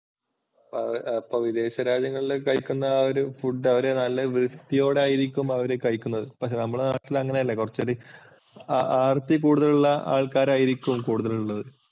ആ വിദേശ രാജ്യങ്ങളിൽ കഴിക്കുന്ന ആ ഒരു food അവർ നല്ല വൃത്തിയോടായിരിക്കും അവർ കഴിക്കുന്നത്. ഇപ്പോൾ നമ്മുടെ നാട്ടിൽ അങ്ങനല്ല കുറച്ചു ആർത്തി കൂടുതലുള്ള ആൾക്കാരായിരിക്കും കൂടുതലുള്ളത്.